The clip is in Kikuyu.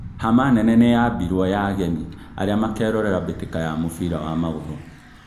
Hama nene nĩyambirwo ya ageni arĩa makerorera mbĩtĩka ya mũbira wa magũrũ